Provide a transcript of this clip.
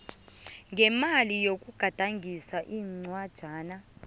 ngemali yokugadangisa incwajana